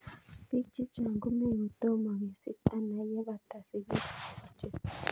Piik chechang' komei kotomo kesich ana ye pata sikishet kityo